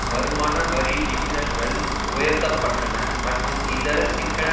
வருமான வரி விகிதங்கள் உயர்த்தப்பட்டன மற்றும் இதர சிக்கன